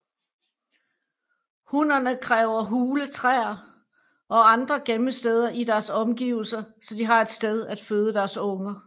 Hunnerne kræver hule træer eller andre gemmesteder i deres omgivelser så de har et sted at føde deres unger